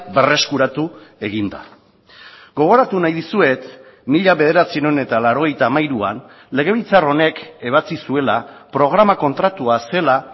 berreskuratu egin da gogoratu nahi dizuet mila bederatziehun eta laurogeita hamairuan legebiltzar honek ebatzi zuela programa kontratua zela